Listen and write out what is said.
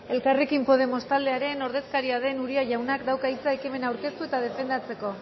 elkarrekin podemos taldearen ordezkaria den uria jaunak dauka hitza ekimena aurkeztu eta defendatzeko